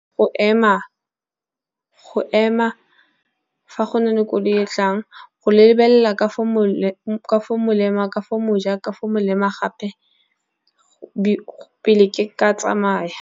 Go ema fa go na le koloi e e tlang, go lebelela ka fo mo lema Ka go moja, ka fo molema gape pele ke ka tsamayma.